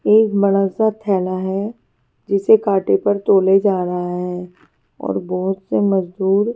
एक बड़ा सा थैला है जिसे कांटे पर तौला जा रहा है और बहोत से मजदूर--